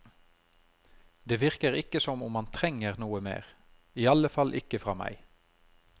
Det virker ikke som om han trenger noe mer, i alle fall ikke fra meg.